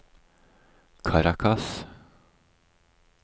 Caracas